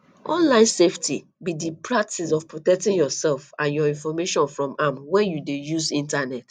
online safety be di practice of protecting yourself and your information from harm when you dey use internet